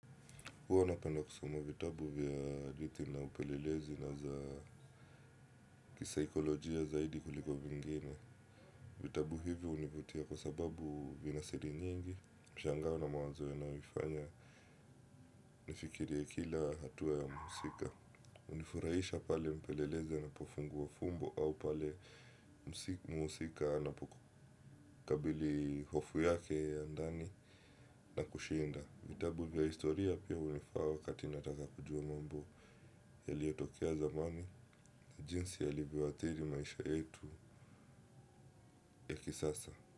Huwa napenda kusoma vitabu vya hadithi na upelelezi na za kisaikolojia zaidi kuliko vingine. Vitabu hivi hunivutia kwa sababu vina siri nyingi. Mshangao na mawazo yanaifanya nifikirie kila hatua ya mhusika. Hunifurahisha pale mpelelezi anapofumbua fumbo au pale mhusika anapokabili hofu yake ya ndani na kushinda. Vitabu vya historia pia hunifaa wakati nataka kujua mambo yaliyotokea zamani, jinsi yalivyoathiri maisha yetu ya kisasa.